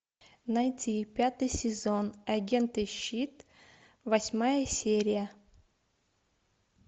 найти пятый сезон агенты щит восьмая серия